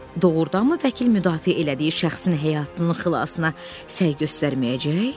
Doğurdanmı vəkil müdafiə elədiyi şəxsin həyatının xilasına səy göstərməyəcək?